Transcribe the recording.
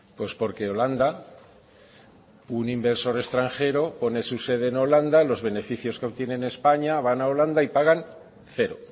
pues porque holanda un inversor extranjero pone su sede en holanda los beneficios que obtiene en españa van a holanda y pagan cero